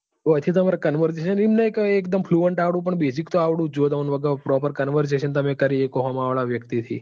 અહી થી પણ basic તો આવડવું જોઈએ તમને વગે આમ proper conversation તમે કરી શકો સામે વાળા વ્યક્તિ થી.